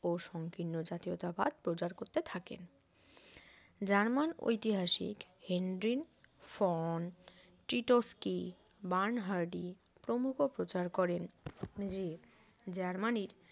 সংকীর্ণ জাতীয়তাবাদ প্রচার করতে থাকেন জার্মান ঐতিহাসিক হেন্ড্রিনফোন টিটোসকি বার্ন হার্ডি প্রমুখো প্রচার করেন যে জার্মানির